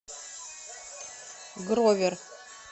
гровер